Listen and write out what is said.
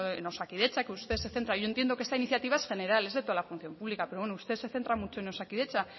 en osakidetza que usted se centra y yo entiendo que esta iniciativa es general es de toda la función pública pero bueno usted se centra mucho en osakidetza